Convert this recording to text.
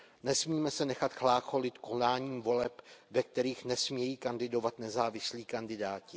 Nesmíme se nechat chlácholit konáním voleb, ve kterých nesmějí kandidovat nezávislí kandidáti.